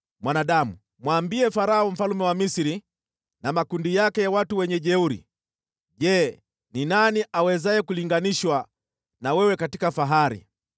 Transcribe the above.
“Mwanadamu, mwambie Farao mfalme wa Misri na makundi yake ya wajeuri: “ ‘Je, ni nani awezaye kulinganishwa na wewe katika fahari.